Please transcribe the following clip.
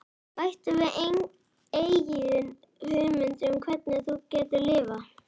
Bættu við eigin hugmyndum um hvernig þú getur LIFAÐ